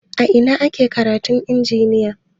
A ina ake karatun injiniya?